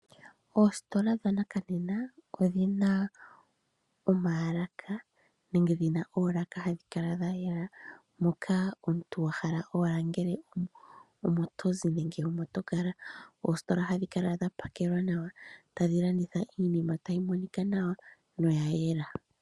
Oositola dha nakanena odhina omaalaka nenge dhina olaaka hadhi kala dha yela, moka omuntu wa hala owala ngele omo tozi nenge omo to kala. Oositola ohadhi kala dha pakelwa nawa tadhi landitha iinima tayi monika nawa noya yela.